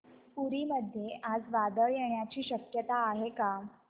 पुरी मध्ये आज वादळ येण्याची शक्यता आहे का